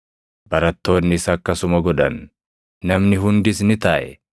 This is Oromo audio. Barattoonnis akkasuma godhan; namni hundis ni taaʼe.